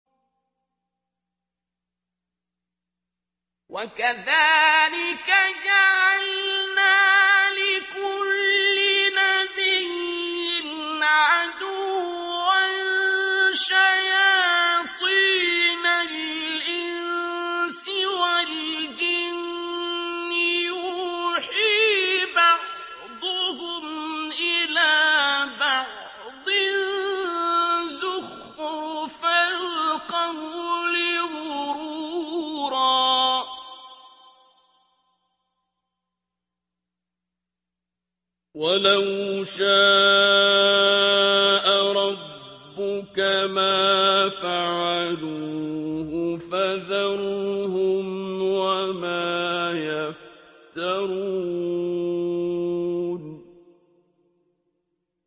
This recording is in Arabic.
وَكَذَٰلِكَ جَعَلْنَا لِكُلِّ نَبِيٍّ عَدُوًّا شَيَاطِينَ الْإِنسِ وَالْجِنِّ يُوحِي بَعْضُهُمْ إِلَىٰ بَعْضٍ زُخْرُفَ الْقَوْلِ غُرُورًا ۚ وَلَوْ شَاءَ رَبُّكَ مَا فَعَلُوهُ ۖ فَذَرْهُمْ وَمَا يَفْتَرُونَ